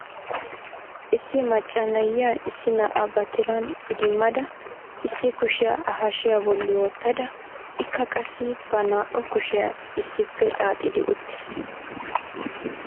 Issi macca na"iya issi na'aa ba tiran idimmada issi kushiyaa A hashiyaa bolli wottada ikka qassi ba naa"u kushiyaa issippe xaxidi uttis.